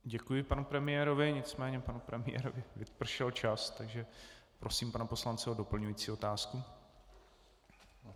Děkuji panu premiérovi, nicméně panu premiérovi vypršel čas, takže prosím pana poslance o doplňující otázku.